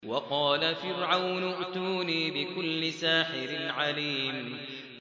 وَقَالَ فِرْعَوْنُ ائْتُونِي بِكُلِّ سَاحِرٍ عَلِيمٍ